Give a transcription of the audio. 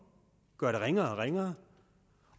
gør det ringere og ringere